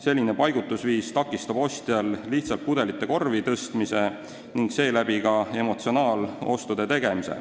Selline paigutusviis takistab ostjal lihtsalt pudeleid korvi tõsta ning seeläbi ka emotsionaaloste teha.